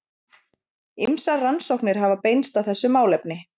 Ýmsar rannsóknir hafa beinst að þessu málefni.